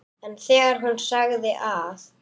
En þegar hún sagði að